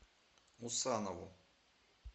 усанову